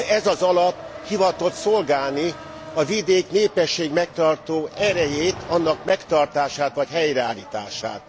Ez az alap hivatott szolgálni a vidék népességmegtartó erejét, annak megtartását, vagy helyreállítását.